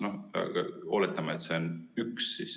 No oletame, et see on üks.